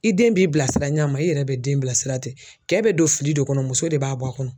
I den b'i bilasira ɲa ma i yɛrɛ bɛ den bilasira ten. Kɛ bɛ don fili do kɔnɔ muso de b'a bɔ a kɔnɔ.